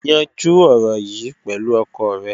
Yanjú ọ̀rọ̀ yìí pẹ̀lú ọkọ rẹ.